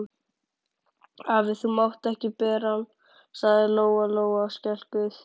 Afi, þú mátt ekki bera hann, sagði Lóa Lóa skelkuð.